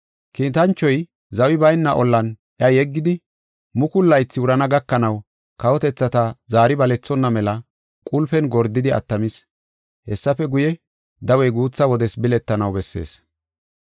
Kiitanchoy zawi bayna ollan iya yeggidi, mukulu laythi wurana gakanaw kawotethata zaari balethonna mela qulpen gordidi attamis. Hessafe guye, dawey guutha wodes biletanaw bessees.